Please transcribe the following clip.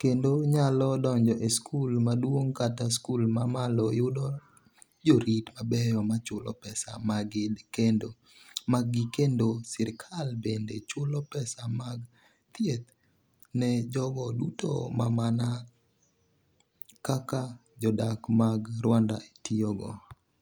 kendo nyalo donjo e skul maduong’ kata skul ma malo yudo jorit mabeyo ma chulo pesa maggi kendo sirkal bende chulo pesa mag thieth ne jogo duto ma mana kaka jodak mag Rwanda tiyogo.